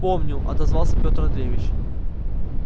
помню отозвался петр андреевич